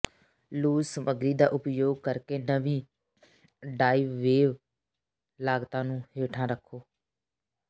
loose ਸਮਗਰੀ ਦਾ ਉਪਯੋਗ ਕਰਕੇ ਨਵੀਂ ਡਾਈਵਵੇਅ ਲਾਗਤਾਂ ਨੂੰ ਹੇਠਾਂ ਰੱਖੋ